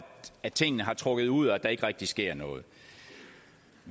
at tingene har trukket ud og at der ikke rigtig sker noget